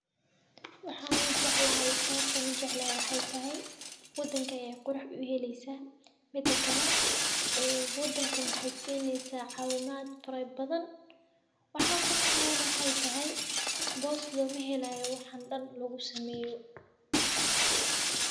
Waxaan u jeclahay, sababtan u jeclaa waxay tahay waddanka ay qurux u yelayso midka kale, ee waddanka maxay siineysa xawimaad furay badan. Waxaan ku noqon doon waxay tahay boostdo ma helaayo waxan dan lagu sameeyo.